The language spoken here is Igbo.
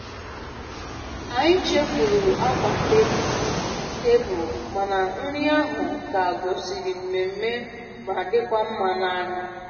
Anyị chefuru akwa tebul, tebul, mana nri ahụ ka gosiri nmemme ma dịkwa mma n'anya.